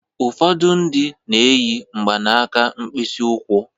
Ụfọdụ ndị na-eyi mgbanaka mkpịsị ụkwụ.